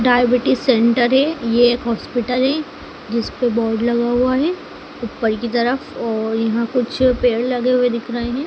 Diabetes centre है ये एक हॉस्पिटल है जिस पे बोर्ड लगा हुआ है ऊपर की तरफ और यहां कुछ पेड़ लगे हुए दिख रहे हैं।